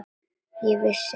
Ég vissi það ekki.